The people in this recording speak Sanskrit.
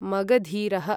मगधीरः